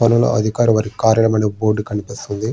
వాణిజ్య పన్నుల అధికారి వారి కార్యాలయం అని బోర్డు కనిపిస్తుంది.